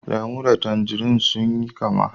Lemu da tanzarine sun yi kamma.